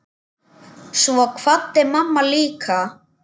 Svo kvaddi mamma líka.